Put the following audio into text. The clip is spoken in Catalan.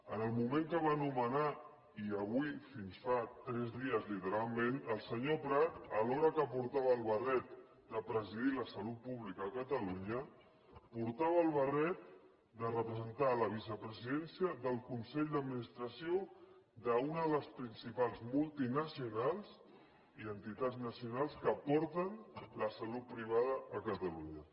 en el moment que el va nomenar i avui fins fa tres dies literalment el senyor prat alhora que portava el barret de presidir la salut pública a catalunya portava el barret de representar la vicepresidència del consell d’administració d’una de les principals multinacionals i entitats nacionals que porten la salut privada a catalunya